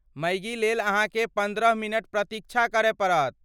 मैगीलेल अहाँकेँ पन्द्रह मिनट प्रतीक्षा करय पड़त।